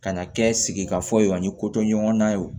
Ka na kɛ sigikafɔ ye ani ko ɲɔgɔnnan ye wo